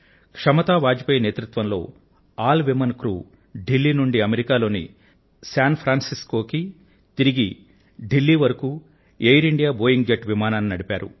క్షమతా వాజపేయి నాయకత్వంలో అందరూ మహిళలే ఉన్నటువంటి నావిక సిబ్బంది ఢిల్లీ నుండి అమెరికా లోని శాన్ ఫ్రాన్ సిస్కో కు తిరిగి ఢిల్లీ వరకు ఏర్ ఇండియా బోయింగ్ జెట్ విమానాన్ని నడిపారు